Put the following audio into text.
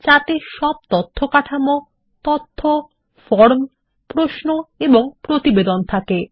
যাতে সব তথ্য কাঠামো তথ্য ফর্ম প্রশ্ন এবং প্রতিবেদন থাকে